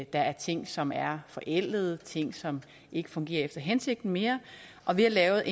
der er ting som er forældet ting som ikke fungerer efter hensigten mere og ved at lave